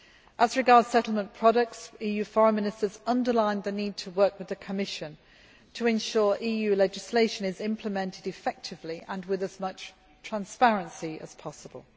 As regards settlement products, EU Foreign Ministers underlined the need to work with the Commission to ensure EU legislation is implemented effectively and with as much transparency as possible.